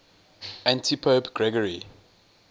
antipope gregory